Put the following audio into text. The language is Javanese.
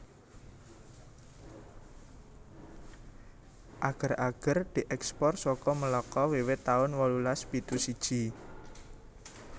Ager ager dièkspor saka Melaka wiwit taun wolulas pitu siji